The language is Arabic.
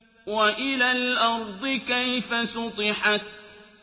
وَإِلَى الْأَرْضِ كَيْفَ سُطِحَتْ